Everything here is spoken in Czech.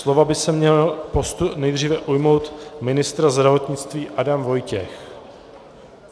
Slova by se měl nejdříve ujmout ministr zdravotnictví Adam Vojtěch.